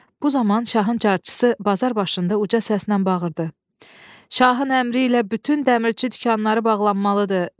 Bu zaman şahın carçısı bazar başında uca səslə bağırdı: "Şahın əmri ilə bütün dəmirçi dükanları bağlanmalıdır!